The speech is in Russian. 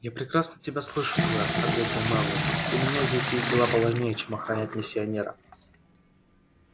я прекрасно тебя слышу твер ответил мэллоу у меня здесь есть дела поважнее чем охранять миссионера